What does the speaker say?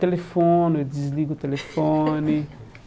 Telefono, eu desligo o telefone.